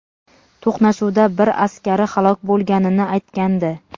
to‘qnashuvda bir askari halok bo‘lganini aytgandi.